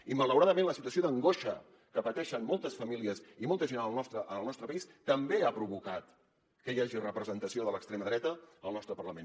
i malauradament la situació d’angoixa que pateixen moltes famílies i molta gent en el nostre país també ha provocat que hi hagi representació de l’extrema dreta al nostre parlament